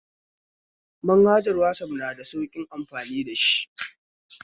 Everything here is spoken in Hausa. Manhajar wazaf na da sauƙin amfani dashi